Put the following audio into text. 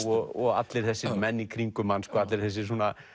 og allir þessir menn í kringum hann allir þessir